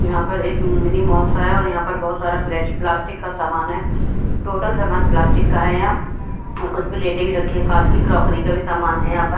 यहां पर एक मिनी माल सा है और यहां पर प्लास्टिक का समान है टोटल सामान प्लास्टिक का है यहां और कुछ प्लेटें भी रखी है कांच की क्रोकरी का भी समान है यहां पर।